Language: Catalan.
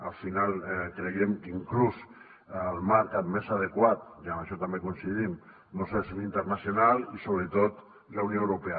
al final creiem que inclús el marc més adequat i en això també hi coincidim doncs és l’internacional i sobretot la unió europea